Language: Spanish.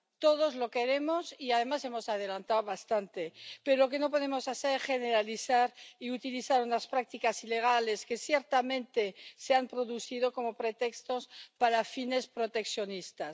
Todos lo queremos y además hemos adelantado bastante, pero lo que no podemos hacer es generalizar y utilizar unas prácticas ilegales —que ciertamente se han producido— como pretexto para fines proteccionistas.